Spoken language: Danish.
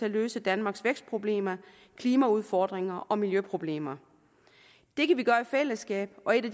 at løse danmarks vækstproblemer klimaudfordringer og miljøproblemer det kan vi gøre i fællesskab og en af